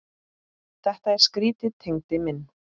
Þetta er skrýtið Tengdi minn.